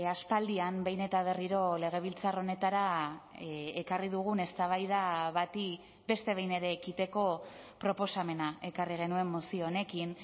aspaldian behin eta berriro legebiltzar honetara ekarri dugun eztabaida bati beste behin ere ekiteko proposamena ekarri genuen mozio honekin